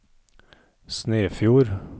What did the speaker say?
Snefjord